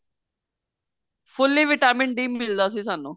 fully vitamin D ਮਿਲਦਾ ਸੀ ਸਾਨੂੰ